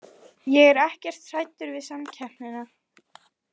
Ég er ekkert hræddur við samkeppnina.